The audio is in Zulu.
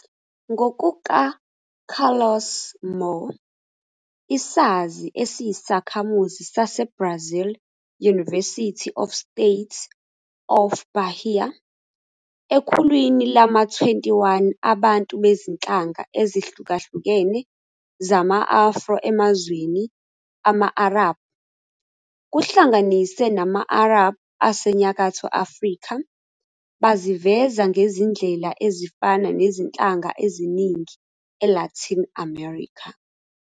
NgokukaCarlos Moore, isazi esiyisakhamuzi saseBrazil University of the State of Bahia, ekhulwini lama-21 abantu bezinhlanga ezihlukahlukene zama-Afro emazweni ama-Arabhu, kuhlanganise nama-Arab aseNyakatho Afrika, baziveza ngezindlela ezifana nezinhlanga eziningi eLatin America.